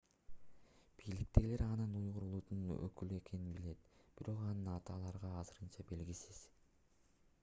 бийликтегилер анын уйгур улутунун өкүлү экенин билет бирок анын аты аларга азырынча белгисиз